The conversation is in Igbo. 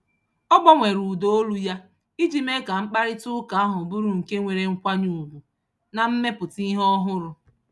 Ọ gbanwere ụda olu ya iji mee ka mkparịtaụka ahụ bụrụ nke nwere nkwanye ugwu na mmepụta ihe ọhụrụ.